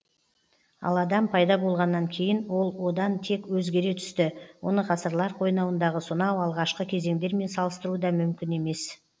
ал адам пайда болғаннан кейін ол одан тез өзгере түсті оны ғасырлар қойнауындағы сонау алғашқы кезеңдермен салыстыру да мүмкін емес